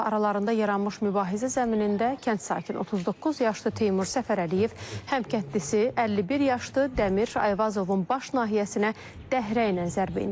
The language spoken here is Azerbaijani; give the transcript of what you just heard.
Aralarında yaranmış mübahisə zəminində kənd sakini 39 yaşlı Teymur Səfərəliyev həmkəndlisi 51 yaşlı Dəmir Ayvazovun baş nahiyəsinə dəhrəylə zərbə endirib.